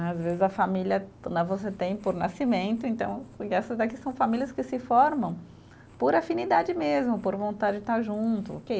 Às vezes a família né, você tem por nascimento, então e essas daqui são famílias que se formam por afinidade mesmo, por vontade de estar junto, ok.